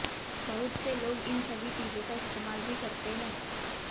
बहुत से लोग इन सभी चीजों का इस्तेमाल भी करते हैं